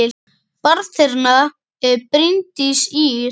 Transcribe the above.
Barn þeirra er Bryndís Ýr.